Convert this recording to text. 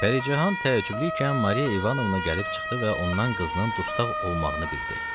Pəricahan təəccüblükən Mariya İvanovna gəlib çıxdı və ondan qızının dustaq olmağını bildi.